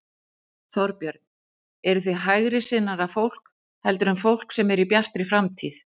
Þorbjörn: Eruð þið hægri sinnaðra fólk heldur en fólk sem er í Bjartri framtíð?